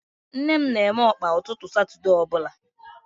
Nne m na eme Ọkpa ụtụtụ satude ọbụla